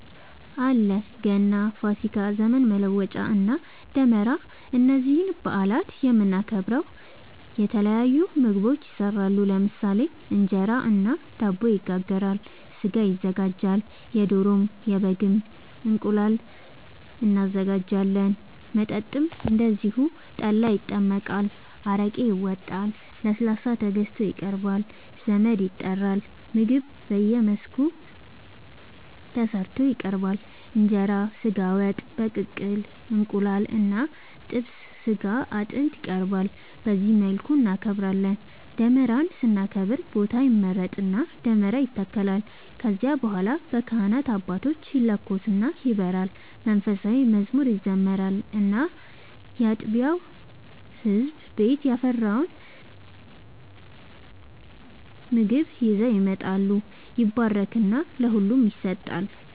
አለ ገና፣ ፋሲካ፣ ዘመን መለወጫ እና ደመራ እነዚህን በአላት የምናከብረው የተለያዩ ምግቦች ይሰራሉ ለምሳሌ እንጀራ እና ዳቦ ይጋገራል፣ ስጋ ይዘጋጃል የዶሮ፣ የበግም፣ እንቁላል እናዘጋጃለን። መጠጥም እንደዚሁ ጠላ ይጠመቃል፣ አረቄ ይወጣል፣ ለስላሳ ተገዝቶ ይቀርባል ዘመድ ይጠራል ምግብ በየመልኩ ተሰርቶ ይቀርባል እንጀራ በስጋ ወጥ፣ በቅቅል እንቁላል እና ጥብስ ስጋ አጥንት ይቀርባል በዚህ መልኩ እናከብራለን። ደመራን ስናከብር ቦታ ይመረጥና ደመራ ይተከላል ከዚያ በኋላ በካህናት አባቶች ይለኮስና ይበራል መንፉሳዊ መዝሙር ይዘመራል እና ያጥቢያው ህዝብ ቤት ያፈራውን ምግብ ይዘው ይመጣሉ ይባረክና ለሁሉም ይሰጣል።